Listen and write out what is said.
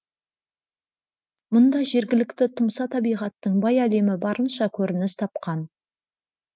мұнда жергілікті тұмса табиғаттың бай әлемі барынша көрініс тапқан